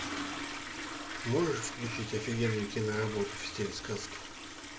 можешь включить офигенную киноработу в стиле сказки